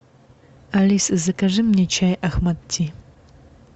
алиса закажи мне чай ахмад ти